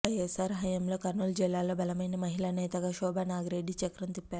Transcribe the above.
వైఎస్ఆర్ హయాంలో కర్నూలు జిల్లాలో బలమైన మహిళా నేతగా శోభా నాగిరెడ్డి చక్రం తిప్పారు